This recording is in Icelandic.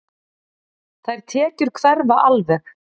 Þær tekjur hverfa alveg.